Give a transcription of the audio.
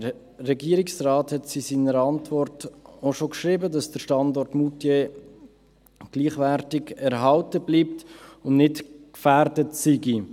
Der Regierungsrat hat es in seiner Antwort auch schon geschrieben, dass der Standort Moutier gleichwertig erhalten bleibt und nicht gefährdet sei.